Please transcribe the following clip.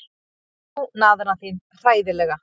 Og þú, naðran þín, hræðilega.